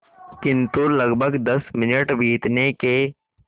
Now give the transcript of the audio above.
किंतु लगभग दस मिनट बीतने के